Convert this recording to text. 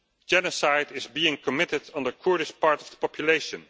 Genocide is being committed on the poorest part of the population.